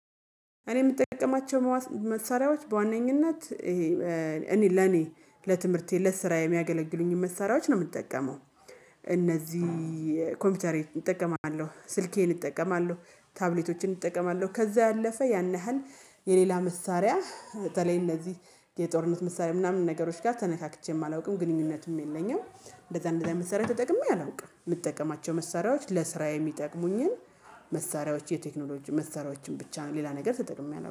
እኔ የምጠቀማቸው መሳሪያዎች በዋነኝነት ይሄ እኔ ለኔ ለትምህርቴ ለስራ የሚያገለግሉኝን መሳሪያዎች ነው የምጠቀመው። እነዚህ ኮምፒውተሬን እጠቀማለሁ ስልኬን እጠቀማለሁ ታብሌቶችን እጠቀማለሁ። ከዛ ያለፈ ያን ያህል የሌላ መሳሪያ በተለይ እነዚህ የጦርነት መሳሪያ ምናምን ነገሮች ጋር ተነካክቼም አላውቅም ግንኙነትም የለኝም። እንደዛ እንደዛ የመሳርያ ተጠቅሜ አላውቅም። መሳሪያዎች ለስራ የሚጠቅሙኝን መሳሪያዎች የቴክኖሎጂ መስሪያዎችን ብቻ ሌላ ነገር ተጠቅሜ አላውቅም